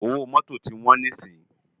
Ówó Mòtó ti wòn si